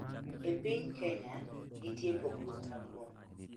E piny Kenya, nitie pogruok maduong'